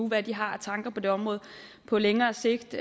hvad de har af tanker på det område på længere sigt